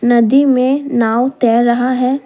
नदी में नांव तैर रहा है।